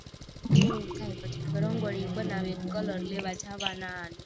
એવું થાય પછી રંગોળી બનાવીએ તો કલર લેવા જાવાના